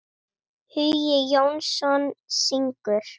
Hugi Jónsson syngur.